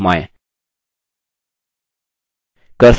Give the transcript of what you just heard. cursor हाथ में बदल जाता है